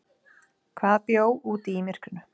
Hvað bjó úti í myrkrinu?